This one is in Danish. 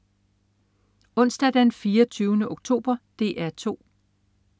Onsdag den 24. oktober - DR 2: